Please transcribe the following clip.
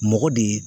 Mɔgɔ de ye